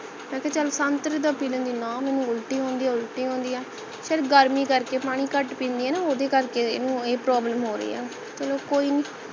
ਵਸੇ ਚਲ ਸੰਤਰੇ ਦਾ ਪੀ ਲੈਂਦੀ ਪਰ ਨਾ ਮੈਨੂੰ ਉਲਟੀ ਆਉਂਦੀ ਹੈ ਉਲਟੀ ਆਉਂਦੀ ਹੈ ਫੇਰ ਗਰਮੀ ਕਰਕੇ ਪਾਣੀ ਘਟ ਪਿੰਦੀ ਹੈ ਨਾ ਓਹਦੇ ਕਰਕੇ ਇਹਨੂੰ ਇਹ problem ਹੋ ਰਹੀ ਹੈ ਚਲ ਕੋਈ ਨੀ